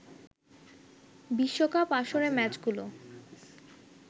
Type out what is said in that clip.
বিশ্বকাপ আসরের ম্যাচগুলো